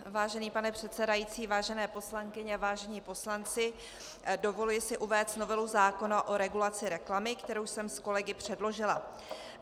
Vážený pane předsedající, vážené poslankyně, vážení poslanci, dovoluji si uvést novelu zákona o regulaci reklamy, kterou jsem s kolegy předložila.